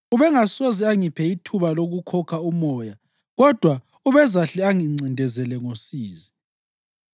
Ubengasoze angiphe ithuba lokukhokha umoya kodwa ubezahle angincindezele ngosizi.